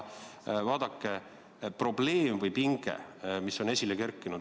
Vaadake, probleem või pinge on esile kerkinud.